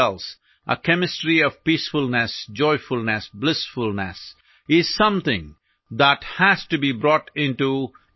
ആന്തരികമായ മികച്ച മാനസികാരോഗ്യ സാഹചര്യത്തിനായി പ്രവർത്തിക്കേണ്ടതുണ്ട് അഥവാ നമുക്കുള്ളിലെ സമചിത്തതയാർന്ന രസതന്ത്രത്തിനായി പ്രവർത്തിക്കേണ്ടതുണ്ട്